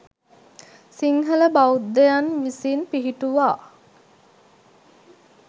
සිංහල බෞද්ධයන් විසින් පිහිටුවා